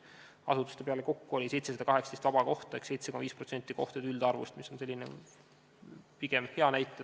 Asutuste peale kokku oli 718 vaba kohta ehk 7,5% kohtade üldarvust, mis on pigem hea näitaja.